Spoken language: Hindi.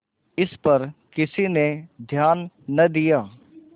इस पर किसी ने ध्यान न दिया